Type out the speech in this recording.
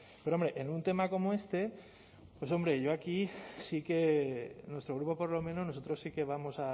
pero hombre en un tema como este pues hombre yo aquí sí que nuestro grupo por lo menos nosotros sí que vamos